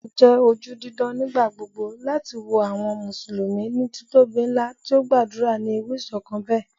O jẹ oju didan nigbagbogbo lati wo awọn Musulumi ni titobi nla ti o gbadura ni iru iṣọkan bẹ